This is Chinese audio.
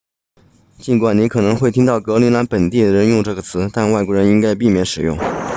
尽管你可能会听到格陵兰本地人用这个词但外国人应该避免使用